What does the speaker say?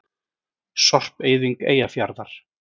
Sorpeyðing Eyjafjarðar.